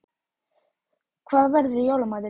Þorbjörn Þórðarson: Hvað verður í jóla matinn?